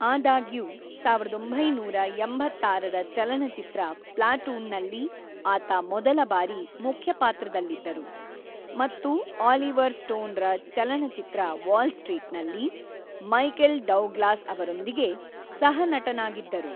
ಆದಾಗ್ಯೂ, ಸಾವಿರದ ಒಂಬೈನೂರ ಎಂಬತ್ತಾರರ ಚಲನಚಿತ್ರ ಪ್ಲಾಟೂನ್‌ನಲ್ಲಿ ಆತ ಮೊದಲಬಾರಿ ಮುಖ್ಯ ಪಾತ್ರದಲ್ಲಿದ್ದರು ಮತ್ತು ಆಲಿವರ್ ಸ್ಟೋನ್‌ರ ಚಲನಚಿತ್ರ ವಾಲ್ ಸ್ಟ್ರೀಟ್‌ನಲ್ಲಿ ಮೈಕೆಲ್ ಡೌಗ್ಲಾಸ್ ಅವರೊಂದಿಗೆ ಸಹ-ನಟನಾಗಿದ್ದರು.